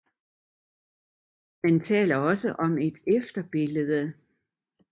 Man taler også om et efterbillede